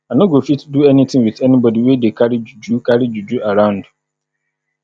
i no go fit do anything with anybody wey dey carry juju carry juju around